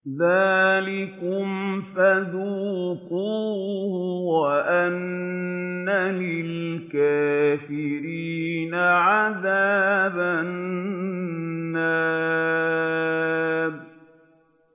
ذَٰلِكُمْ فَذُوقُوهُ وَأَنَّ لِلْكَافِرِينَ عَذَابَ النَّارِ